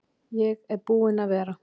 Ég er búinn að vera.